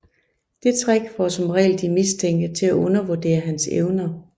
Det trick får som regel de mistænkte til at undervurdere hans evner